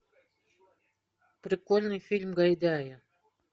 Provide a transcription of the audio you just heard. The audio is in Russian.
прикольный фильм гайдая